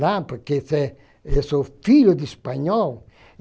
Lá, porque eu sou filho de espanhol.